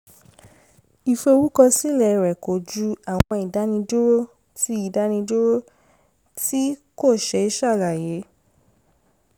ìforúkọsílẹ̀ rẹ̀ kojú àwọn ìdánidúró tí ìdánidúró tí kò ṣe é ṣàlàyé